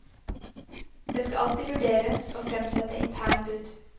Det skal alltid vurderes å fremsette interne bud.